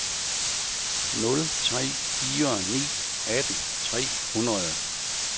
nul tre fire ni atten tre hundrede